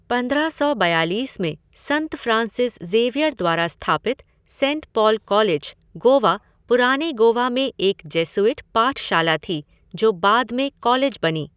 पंद्रह सौ बयालीस में संत फ़्रांसिस ज़ेवियर द्वारा स्थापित सेंट पॉल कॉलेज, गोवा, पुराने गोवा में एक जेसुइट पाठशाला थी जो बाद में कॉलेज बनी।